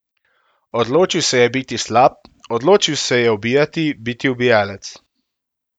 Odločil se je biti slab, odločil se je ubijati, biti ubijalec.